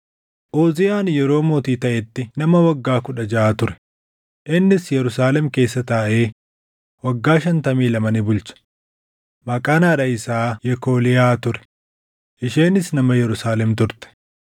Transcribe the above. Uziyaan yeroo mootii taʼetti nama waggaa kudha jaʼa ture; innis Yerusaalem keessa taaʼee waggaa shantamii lama ni bulche; maqaan haadha isaa Yekooliyaa ture; isheenis nama Yerusaalem turte.